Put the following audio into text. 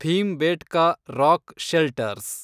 Bhimbetka rock shelters